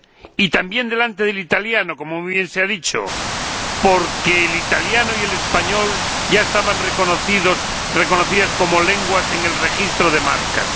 y también delante del italiano como muy bien se ha dicho porque el italiano y el español ya estaban reconocidas como lenguas en el registro de marcas.